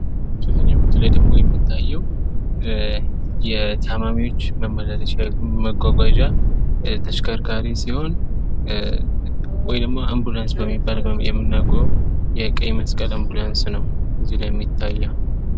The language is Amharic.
ከዚኛዉ ፎቶ ላይ ደሞ የሚታየዉ የታማሚወች መመላለሻ መጓጓዣ ተሽከርካሪ ሲሆን ወይ ደሞ አንቡላንስ የሚባል የምናቀዉ የቀይ መስቀል አንቡላንስ ነው እዚላይ የሚታየዉ።